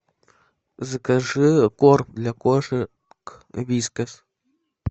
закажи корм для кошек вискас